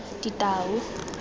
ditau